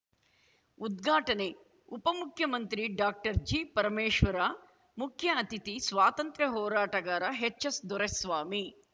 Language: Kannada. ಉದ್ಘಾಟನೆ ಉಪ ಮುಖ್ಯಮಂತ್ರಿ ಡಾಕ್ಟರ್ಜಿಪರಮೇಶ್ವರ ಮುಖ್ಯ ಅತಿಥಿ ಸ್ವಾತಂತ್ರ್ಯ ಹೋರಾಟಗಾರ ಹೆಚ್‌ಎಸ್‌ದೊರೆಸ್ವಾಮಿ